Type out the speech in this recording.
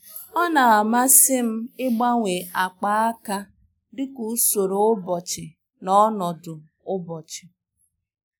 Ọ́ nà-àmàsị́ m ị́gbanwe ákpá áká dika usoro ụ́bọ̀chị̀ na ọnọdụ ụ́bọ̀chị̀.